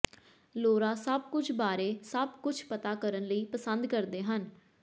Laura ਸਭ ਕੁਝ ਬਾਰੇ ਸਭ ਕੁਝ ਪਤਾ ਕਰਨ ਲਈ ਪਸੰਦ ਕਰਦੇ ਹਨ